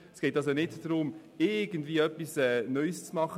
Es geht also nicht darum, etwas Neues zu machen.